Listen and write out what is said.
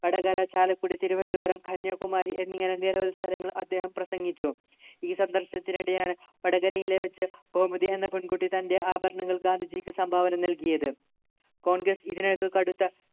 വടകര ചാലക്കുടി തിരുവനന്തപുരം കന്യാകുമാരി എന്നിങ്ങനെ നിരവധി സ്ഥലങ്ങളിൽ അദ്ദേഹം പ്രസംഗിച്ചു ഈ സന്ദർശനത്തിനിടെയാണ് വടകരയിലെ വച്ച് ഗോമതി എന്ന പെൺകുട്ടി തൻ്റെ ആഭരണങ്ങൾ ഗാന്ധിജിക്ക് സംഭാവന നൽകിയത് congress ഇതിനകം കടുത്ത